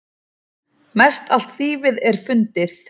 Mestallt þýfið er fundið.